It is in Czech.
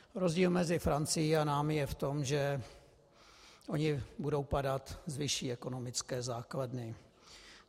Rozdíl mezi Francií a námi je v tom, že oni budou padat z vyšší ekonomické základny.